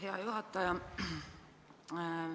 Hea juhataja!